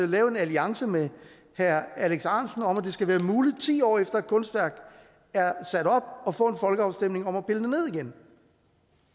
lave en alliance med herre alex ahrendtsen om at det skal være muligt ti år efter at et kunstværk er sat op at få folkeafstemning om